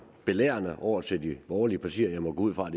belærende over til de borgerlige partier og jeg må gå ud fra at